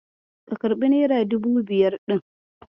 Ka karɓi nera dubu biyar ɗin?